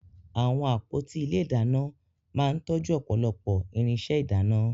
Àwọn àpótí ilé ìdáná máa ń tọ́jú ọ̀pọ̀lọpọ̀ irinṣẹ́ ìdáná